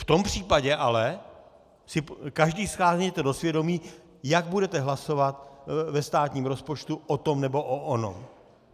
V tom případě ale si každý sáhněte do svědomí, jak budete hlasovat ve státním rozpočtu o tom nebo o onom.